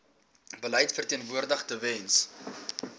beleid verteenwoordig tewens